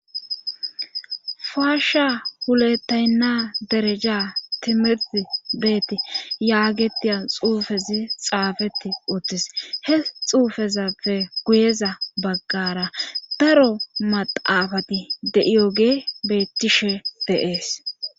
Faasha hulettaynna dereja timiri beeti yaagetiya xuufezi xaafeti uttis he xuufezappe guyeza baggara daro maxaafati deiyoge bettishe deees